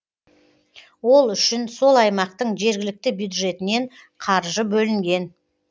ол үшін сол аймақтың жергілікті бюджетінен қаржы бөлінген